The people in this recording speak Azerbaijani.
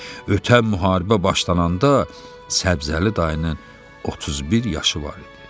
Ötən müharibə başlayanda Səbzəli dayının 31 yaşı var idi.